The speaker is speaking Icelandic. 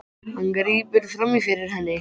Hann grípur fram í fyrir henni.